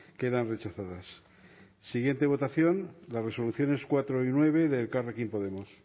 quedan rechazadas siguiente votación las resoluciones cuatro y nueve de elkarrekin podemos